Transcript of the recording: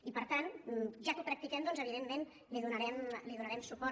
i per tant ja que ho practiquem doncs evidentment li donarem suport